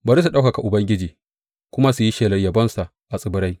Bari su ɗaukaka Ubangiji su kuma yi shelar yabonsa a tsibirai.